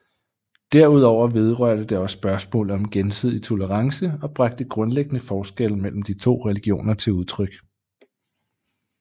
Derudover vedrørte det også spørgsmålet om gensidig tolerance og bragte grundlæggende forskelle mellem de to religioner til udtryk